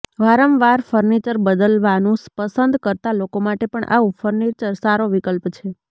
વારંવાર ફર્નિચર બદલવાનું પસંદ કરતા લોકો માટે પણ આવું ફર્નિચર સારો વિકલ્પ છે